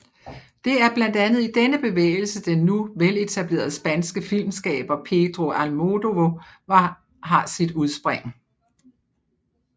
Det er blandt andet i denne bevægelse den nu veletablerede spanske filmskaber Pedro Almodóvar har sit udspring